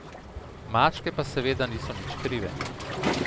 Mačke pa seveda niso nič krive.